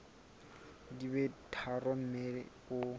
di be tharo mme o